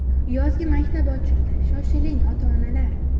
Yozgi maktab ochildi, shoshiling ota-onalar!.